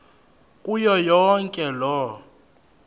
kuyo yonke loo